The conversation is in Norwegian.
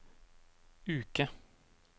uke